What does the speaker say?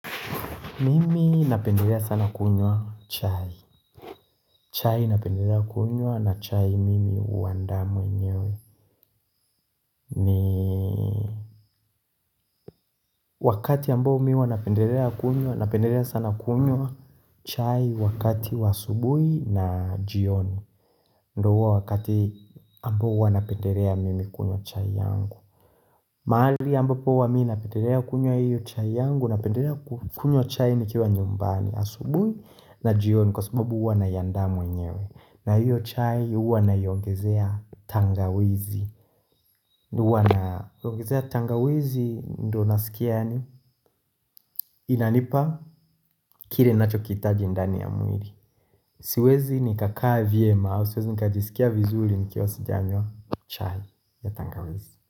Mimi napendelea sana kunywa chai. Chai napendelea kunywa na chai mimi huandaa mwenyewe. Wakati ambao mi wanapendelea kunywa napendelea sana kunywa chai wakati wa asubuhi na jioni. Ndio huo wakati ambao huwa napendelea mimi kunywa chai yangu. Mahali ambapo huwa mi napendelea kunywa hiyo chai yangu napendelea kunywa chai ni kiwa nyumbani asubui na jioni kwa sababu huwa naiandaa mwenyewe. Na hiyo chai huwa naiongezea tangawizi, huwa naongezea tangawizi ndo nasikia yaani yanipa kile nacho kiitaji ndani ya mwili Siwezi nikakaa vyema au siwezi nikajisikia vizuri nikiwa sijanywa chai ya tangawizi.